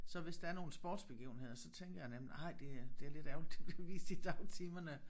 Så hvis der er nogle sportsbegivenheder så tænker jeg nemlig ej det er det er lidt ærgerligt de bliver vist i dagtimerne